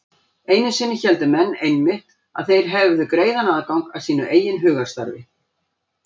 Einu sinni héldu menn einmitt að þeir hefðu greiðan aðgang að sínu eigin hugarstarfi.